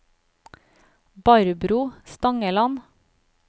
Barbro Stangeland